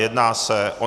Jedná se o